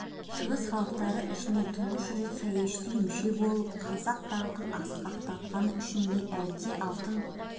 шығыс халықтары ішінен тұңғыш рет саяси мүше болып қазақтың даңқын асқақтатқаны үшн бе әлде алтын